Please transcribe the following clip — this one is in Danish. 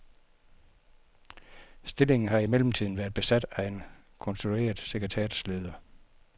Stillingen har i mellemtiden været besat af en konstitueret sekretariatsleder.